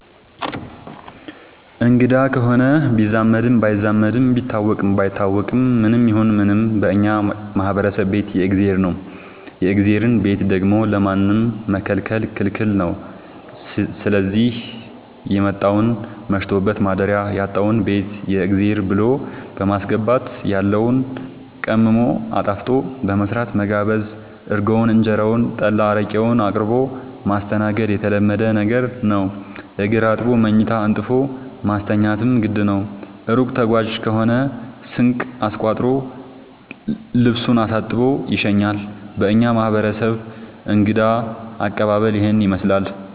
አንግዳ ከሆነ ቢዛመድም ባይዛመድም ቢታወቅም ባይታወቅም ማንም ይሁን ምንም በእኛ ማህበረሰብ ቤት የእግዜር ነው። የእግዜርን ቤት ደግሞ ለማንም መከልከል ክልክል ነው ስዚህ የመጣውን መሽቶበት ማደሪያ ያጣውን ቤት የእግዜር ብሎ በማስገባት ያለውን ቀምሞ አጣፍጦ በመስራት መጋበዝ እርጎውን እንጀራውን ጠላ አረቄውን አቅርቦ ማስተናገድ የተለመደ ነገር ነው። እግር አጥቦ መኝታ አንጥፎ ማስተኛትም ግድ ነው። እሩቅ ተጓዥ ከሆነ ስንቅ አስቋጥሮ ልሱን አሳጥቦ ይሸኛል። በእኛ ማህረሰብ እንግዳ አቀባሀል ይህንን ይመስላል።